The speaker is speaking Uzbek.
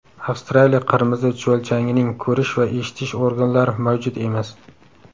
Avstraliya qirmizi chuvalchangining ko‘rish va eshitish organlari mavjud emas.